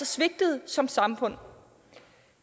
svigtet som samfund